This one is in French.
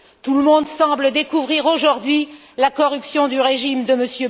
Tout le monde semble découvrir aujourd'hui la corruption du régime de M.